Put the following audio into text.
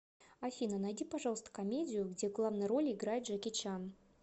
афина найди пожалуйста комедию где в главной роли играет джеки чан